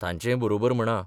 तांचेंय बरोबर म्हणा.